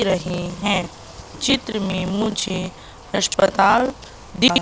रहे है चित्र में मुझे अस्पताल दिख--